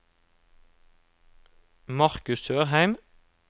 Marcus Sørheim